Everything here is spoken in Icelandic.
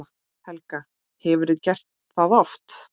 Helga: Hefurðu gert það oft?